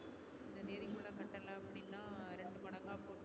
அந்த தேதி குள்ள கட்டல அப்டினா ரெண்டுமடங்கா போட்டு